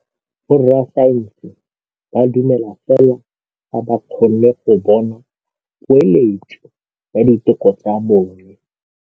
Borra saense ba dumela fela fa ba kgonne go bona poeletsô ya diteko tsa bone.